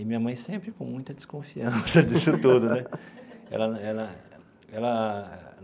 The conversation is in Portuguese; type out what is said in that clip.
E minha mãe sempre com muita desconfiança disso tudo né ela ela ela.